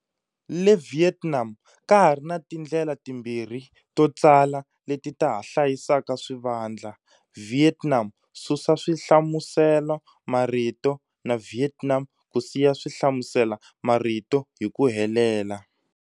Le Vietnam, ka ha ri na tindlela timbirhi to tsala leti ta ha hlayisaka swivandla-"Viet Nam", susa swihlamusela-marito, na"Vietnam", ku siya swihlamusela-marito hi ku helela.